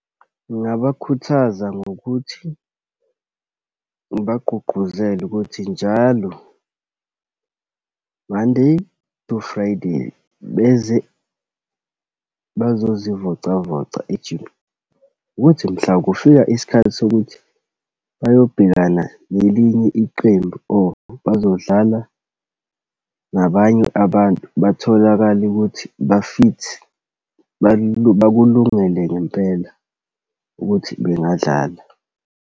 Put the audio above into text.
Ngingabakhuthaza ngokuthi ngibagqugquzele ukuthi njalo, Monday to Friday, beze bazozivocavoca , ukuthi mhla kufika isikhathi sokuthi bayobhekana nelinye iqembu, or bazodlala nabanye abantu, batholakale ukuthi ba-fit, bakungele ngempela ukuthi bengadlala.